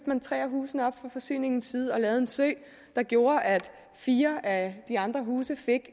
man tre af husene fra forsyningens side og lavede en sø der gjorde at fire af de andre huse fik